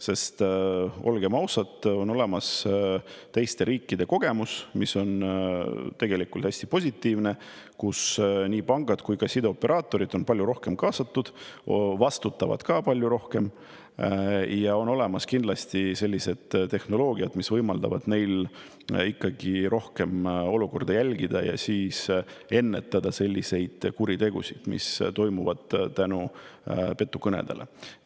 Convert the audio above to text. Sest olgem ausad, on olemas teiste riikide kogemus, mis on tegelikult hästi positiivne, kus nii pangad kui ka sideoperaatorid on palju rohkem kaasatud, vastutavad ka palju rohkem, ja on olemas kindlasti sellised tehnoloogiad, mis võimaldavad neil rohkem olukorda jälgida ja ennetada selliseid kuritegusid, mis toimuvad petukõnede tõttu.